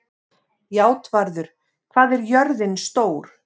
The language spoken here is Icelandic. Játvarður, hvað er jörðin stór?